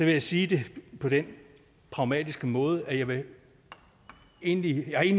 jeg sige det på den pragmatiske måde at jeg egentlig